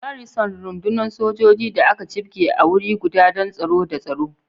Garrison, rukunin sojoji da aka jibge a wuri guda don tsaro da tsaro.